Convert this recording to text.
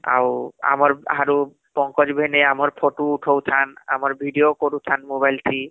ଆଉ ଆମର ବାହାରୁ ପଙ୍କଜ ଭେନେଇ ଆମର photo ଉଠଉଥାନ , ଆମର video କରୁଥାନ mobile ଥି